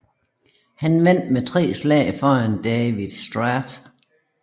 Han vandt med tre slag foran Davie Strath